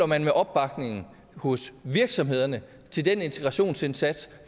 man med opbakningen hos virksomhederne til den integrationsindsats